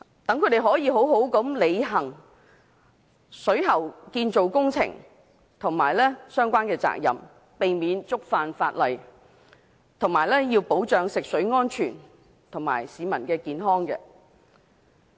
這樣有助他們，妥善進行水喉建造工程和好好履行相關責任，避免觸犯法例，並保障食水安全和市民健康。